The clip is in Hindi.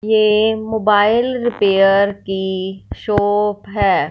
ये मोबाइल रिपेयर की शॉप है।